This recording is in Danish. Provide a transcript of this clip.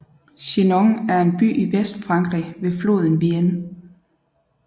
Chinon er en by i Vestfrankrig ved floden Vienne